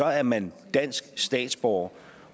er man dansk statsborger